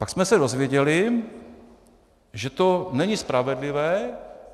Pak jsme se dozvěděli, že to není spravedlivé.